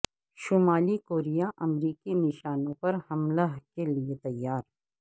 شمالی کوریا امریکی نشانوں پر حملہ کے لیے تیار